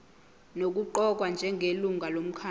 nokuqokwa njengelungu lomkhandlu